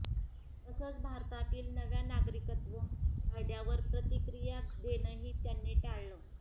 तसंच भारतातील नव्या नागरिकत्व कायद्यावर प्रतिक्रिया देणंही त्यांनी टाळलं